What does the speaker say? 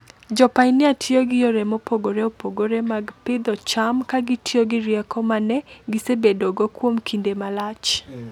Jopainia tiyo gi yore mopogore opogore mag pidho cham ka gitiyo gi rieko ma ne gisebedogo kuom kinde malach.